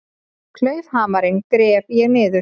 Klaufhamarinn gref ég niður.